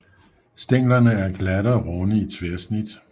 Stænglerne er glatte og runde i tværsnit